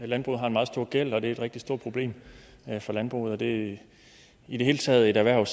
landbruget har en meget stor gæld og det er et rigtig stort problem for landbruget det er i det hele taget et erhverv